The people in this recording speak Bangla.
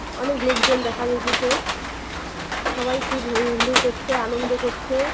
অনক লোকজন দেখা যাইতাসে সবাই খুব হৈহুলোর করছে আনন্দ করছে।